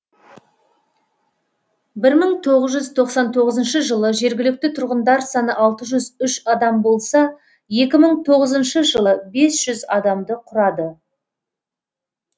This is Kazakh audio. бір мың тоғыз жүз тоқсан тоғызыншы жылы жергілікті тұрғындар саны алты жүз үш адам болса екі мың тоғызыншы жылы бес жүз адамды құрады